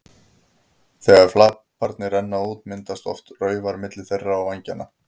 Þegar flaparnir renna út myndast oft raufar milli þeirra og vængjanna.